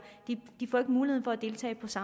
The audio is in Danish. så